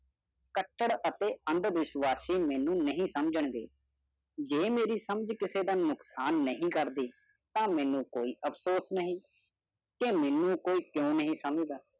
cutter ਅਤੇ ਅੰਧ ਵਿਸ਼ਵਾਸੀ ਮੈਨੂੰ ਨਹੀਂ ਸਮਝਣਗੇ ਜੇਡੇ ਮੇਰੀ ਸਮਝ ਕਿਸੀ ਦਾ ਨੁਕਸਾਨ ਨਹੀਂ ਕਰਦੀ ਤਾ ਮੈਨੂੰ ਕੋਈ ਅਫਸੋਸ ਨਹੀਂ ਕੇ ਮੇਨੂ ਕੋਈ ਕ੍ਯੂਂ ਨਹੀਂ ਸਮਝਦਾ